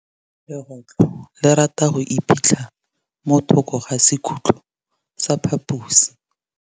Legôtlô le rata go iphitlha mo thokô ga sekhutlo sa phaposi.